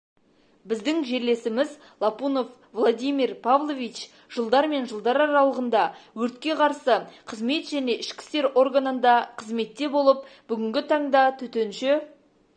біздің жерлесіміз лапунов владимир павлович жылдар мен жылдар аралығында өртке қарсы қызмет және ішкі істер органында қызметте болып бүгінгі таңда төтенше